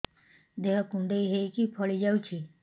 ଦେହ କୁଣ୍ଡେଇ ହେଇକି ଫଳି ଯାଉଛି